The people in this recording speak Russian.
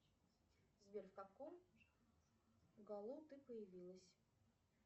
сбер в каком году ты появилась